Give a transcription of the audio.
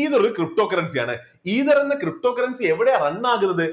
ether ഒരു ptocurrency ആണ്. ether എന്ന ptocurrency എവിടെയാ run ആകുന്നത്